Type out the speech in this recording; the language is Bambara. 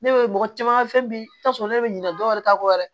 Ne bɛ mɔgɔ caman ka fɛn bi ta sɔrɔ ne bɛ ɲinɛ dɔw yɛrɛ ta kɔ dɛ